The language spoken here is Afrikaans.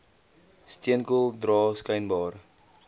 steenkool dra skynbaar